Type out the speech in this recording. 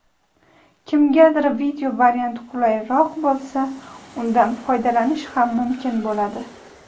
kimgadir video varianti qulayroq bo‘lsa undan foydalanish ham mumkin bo‘ladi.